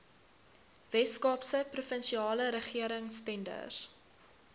weskaapse provinsiale regeringstenders